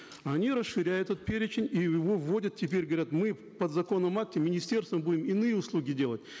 а они расширяют этот перечень и его вводят теперь говорят мы в подзаконном акте министерством будем иные услуги делать